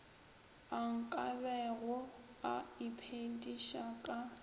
a nkabego a iphediša ka